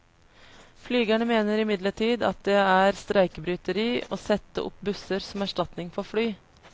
Flygerne mener imidlertid at det er streikebryteri å sette opp busser som erstatning for fly.